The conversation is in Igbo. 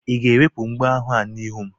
Ị ga-ewepụ mgbo ahụ n'ihu m?